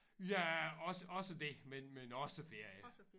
Ja også også det men men også ferie